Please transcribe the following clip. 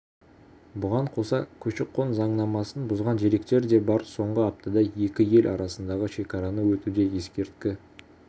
бұған қоса көші-қон заңнамасын бұзған деректер де бар соңғы аптада екі ел арасындағы шекараны өтуде есірткі